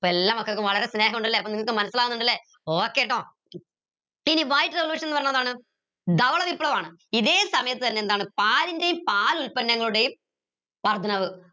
പ്പോ എല്ലാ മക്കൾക്കും വളരെ സ്നേഹ്ണ്ടല്ലേ അപ്പൊ നിങ്ങൾക്ക് മനസിലാവിന്നിണ്ടല്ലേ okay ട്ടോ ഇനി white revolution ന്ന് പറഞ്ഞ എന്താണ് വിപ്ലവാണ് ഇതേ സമയത്ത് തന്നെ എന്താണ് പാലിന്റെയും പാലുൽപന്നങ്ങളുടെയും വർദ്ധനവ്